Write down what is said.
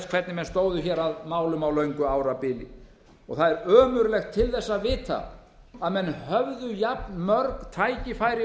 hvernig menn stóðu að málum á löngu árabili og það er ömurlegt til þess að vita að menn höfðu jafnmörg tækifæri